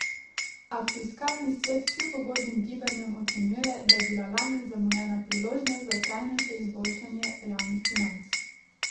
A fiskalni svet kljub ugodnim gibanjem ocenjuje, da je bila lani zamujena priložnost za trajnejše izboljšanje javnih financ.